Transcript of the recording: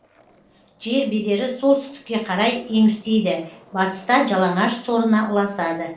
жер бедері солтүстікке қарай еңістейді батыста жалаңаш сорына ұласады